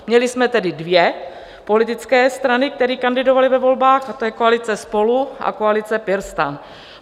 Měli jsme tedy dvě politické strany, které kandidovaly ve volbách, a to je koalice SPOLU a koalice PirSTAN.